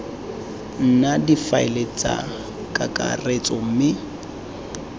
nna difaele tsa kakaretso mme